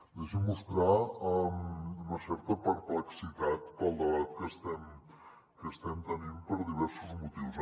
deixi’m mostrar una certa perplexitat pel debat que estem tenint per diversos motius